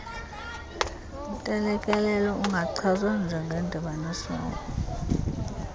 ntelekelelo ungachazwa njengendibanisela